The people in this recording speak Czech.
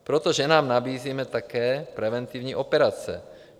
Proto ženám nabízíme také preventivní operace.